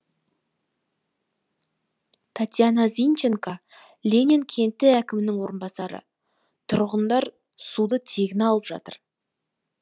татьяна зинченко ленин кенті әкімінің орынбасары тұрғындар суды тегін алып жатыр